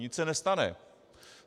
Nic se nestane.